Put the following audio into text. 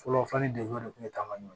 Fɔlɔ fɔli degun de kun bɛ taa ɲɔ